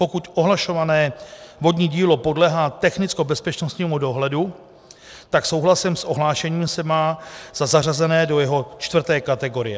Pokud ohlašované vodní dílo podléhá technickobezpečnostnímu dohledu, tak souhlasem s ohlášením se má za zařazené do jeho čtvrté kategorie.